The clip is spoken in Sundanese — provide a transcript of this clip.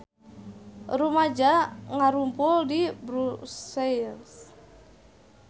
Rumaja ngarumpul di Brussels